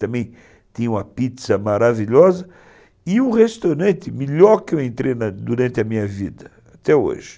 Também tinha uma pizza maravilhosa e um restaurante melhor que eu entrei durante a minha vida, até hoje.